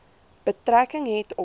betrekking het op